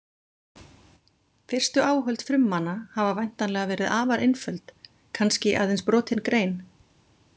Fyrstu áhöld frummanna hafa væntanlega verið afar einföld, kannski aðeins brotin grein.